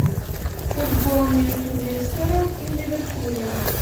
футбол между лестером и ливерпулем